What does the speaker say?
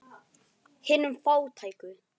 Hinum fátæku.